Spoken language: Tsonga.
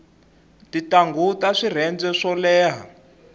tintangu ta swirhenze swo leha